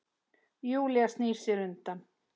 Júlía snýr sér undan.